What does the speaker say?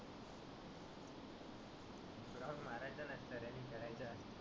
मारायचं नसतं रनींग करायचं असतं.